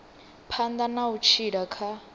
phanḓa na u tshila kha